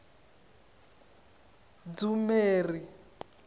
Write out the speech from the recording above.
dzumeri